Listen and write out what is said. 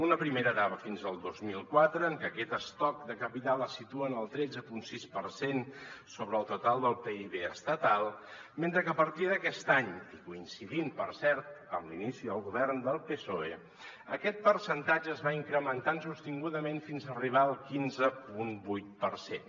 una primera etapa fins al dos mil quatre en què aquest estoc de capital se situa en el tretze coma sis per cent sobre el total del pib estatal mentre que a partir d’aquest any i coincidint per cert amb l’inici del govern del psoe aquest percentatge es va incrementant sostingudament fins a arribar al quinze coma vuit per cent